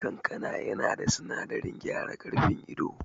Kankana yana da sinadarin gyara karfin ido